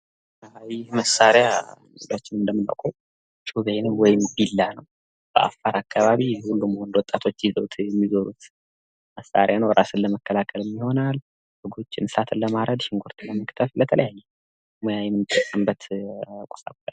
ይህ መሳሪያ ሁላችንም እንደምናቀው ጩቤ ነው። ወይም ቢላዋ ነው። በአፋር አካባቢ ሙሉ በሙሉ ወጣቶች ይዘዉት የሚዞሩት መሳሪያ ነው እራሳቸውን ለመከላከልም ይሆናል። እንሰሳትን ለማረድ ወይም ሽንኩርት ለመክተፍ ለተለያየ